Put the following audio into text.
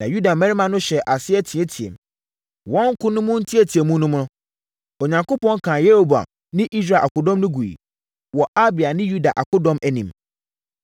na Yuda mmarima no hyɛɛ aseɛ teateaam. Wɔn ko no mu nteateamu no mu no, Onyankopɔn kaa Yeroboam ne Israel akodɔm no guiɛ, wɔ Abia ne Yuda akodɔm anim.